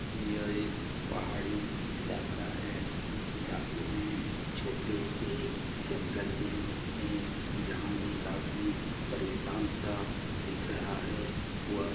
यह एक पहाड़ी इलाका है इस इलाके में छोटे से जंगल भी है जहाँ एक आदमी परेशान सा दिख रहा है वह --